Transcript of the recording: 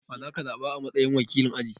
Wa za ka zaɓa a matsayin wakilin aji?